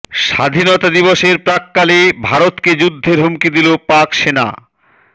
স্বাধীনতা দিবসের প্রাক্কালে ভারতকে যুদ্ধের হুমকি দিল পাক সেনা